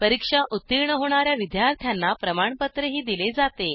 परीक्षा उत्तीर्ण होणा या विद्यार्थ्यांना प्रमाणपत्रही दिले जाते